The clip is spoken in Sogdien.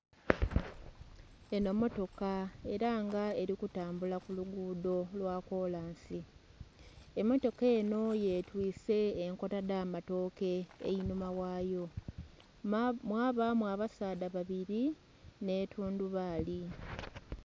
Enho mmotoka ela nga eli kutambula ku luguudho lwa kolansi. Emmotoka enho yetwiise enkota dh'amatooke einhuma ghayo. Mwabaamu abasaadha babili nh'etundubaali.